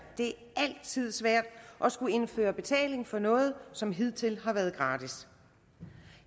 det altid er svært at skulle indføre betaling for noget som hidtil har været gratis